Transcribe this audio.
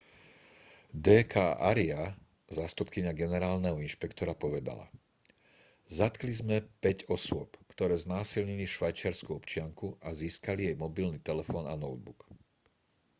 d k arya zástupkyňa generálneho inšpektora povedala zatkli sme päť osôb ktoré znásilnili švajčiarsku občianku a získali jej mobilný telefón a notebook